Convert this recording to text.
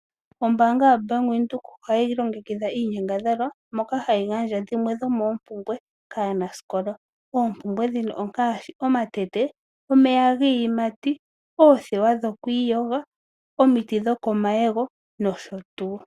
Ombaanga yo Bank Windhoek ohayi longekidha iinyangadhalwa moka hayi gandja dhimwe dhomoompumbwe kaanasikola . Oompumbwe ndhino ongaashi omatete, omeya giiyimati, oothewa dhokwiiyoga, omiti dhokomayego nosho tuu.